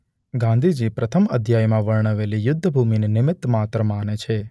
ગાંધીજી પ્રથમ અધ્યાયમાં વર્ણવેલી યુદ્ધભૂમિને નિમિત્ત માત્ર માને છે.